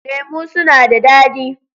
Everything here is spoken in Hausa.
Lemu suna da dadi.